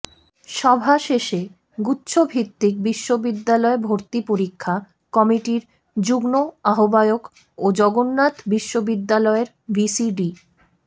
সভা শেষে গুচ্ছভিত্তিক বিশ্ববিদ্যালয় ভর্তি পরীক্ষা কমিটির যুগ্ম আহ্বায়ক ও জগন্নাথ বিশ্ববিদ্যালয়ের ভিসি ড